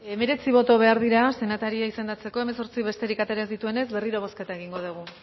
hemeretzi boto behar dira senataria izendatzeko hemezortzi besterik atera ez dituenez berriro bozketa egingo dugu